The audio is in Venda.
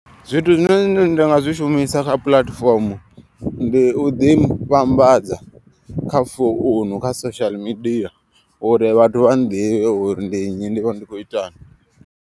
Zwithu zwine nda nga zwi shumisa kha puḽatifomo. Ndi u ḓi vhambadza kha founu kha social media uri vhathu vha nḓivhe uri ndi nnyi ndi vha ndi khou itani.